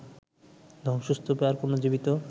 ধ্বংসস্তূপে আর কোন জীবিত